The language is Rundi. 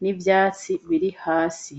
n'ivyatsi biri hasi.